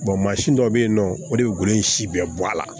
mansin dɔ bɛ yen nɔ o de ye golo in si bɛɛ bɔ a la